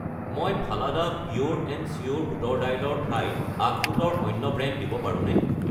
মই Phalada pure and sure বুটৰ দাইল ৰ ঠাইত আখৰোট ৰ অন্য ব্ৰেণ্ড দিব পাৰোঁনে?